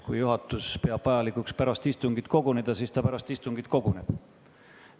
Kui juhatus peab vajalikuks pärast istungit koguneda, siis ta pärast istungit ka koguneb.